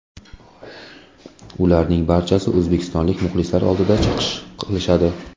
Ularning barchasi o‘zbekistonlik muxlislar oldida chiqish qilishadi.